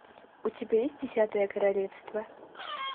у тебя есть десятое королевство